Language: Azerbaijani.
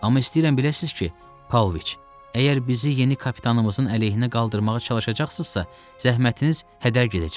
Amma istəyirəm biləsiniz ki, Pavloviç, əgər bizi yeni kapitanımızın əleyhinə qaldırmağa çalışacaqsınızsa, zəhmətiniz hədər gedəcək.